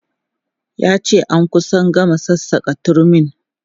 Ya ce an kusa gama sassaka turmin.